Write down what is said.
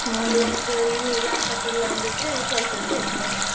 Laptop ಇಲ್ಲ ಅಂದಿದ್ರೆ ಕೆಲ್ಸ ಇರ್ತಿರ್ಲಿಲ್ಲ.